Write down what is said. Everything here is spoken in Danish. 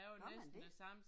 Gør man det?